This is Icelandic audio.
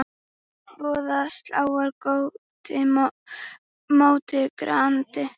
voða sálar móti grandi.